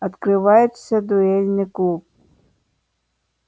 открывается дуэльный клуб